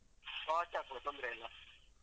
Watch ಆಗ್ಬೋದು. ತೊಂದ್ರೆಯಿಲ್ಲ.